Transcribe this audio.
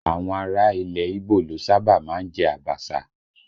Àwọn ará ilẹ̀ ígbò ló sábà má ń jẹ Abaṣa